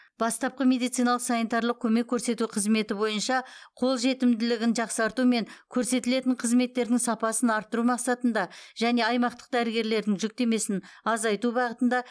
бастапқы медициналық санитарлық көмек көрсету қызметі бойынша қолжетімділігін жақсарту мен көрсетілетін қызметтердің сапасын арттыру мақсатында және аймақтық дәрігерлердің жүктемесін азайту бағытында